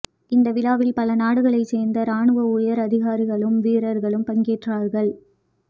இந்த விழாவில் பல நாடுகளைச் சேர்ந்த இராணுவ உயர் அதிகாரிகளும் வீரர்களும் பங்கேற்றார்கள்